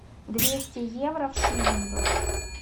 двести евро в шиллингах